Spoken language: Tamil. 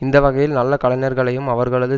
இந்த வகையில் நல்ல கலைஞர்களையும் அவர்களது